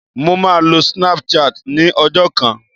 Mo máa lo snap chat ní ọjọ́ kan